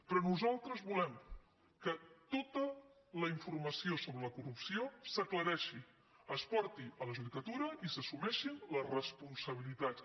però nosaltres volem que totacorrupció s’aclareixi es porti a la judicatura i s’assumeixin les responsabilitats